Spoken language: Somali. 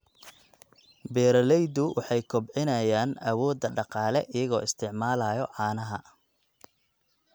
Beeraleydu waxay kobcinayaan awoodda dhaqaale iyagoo isticmaalaya caanaha.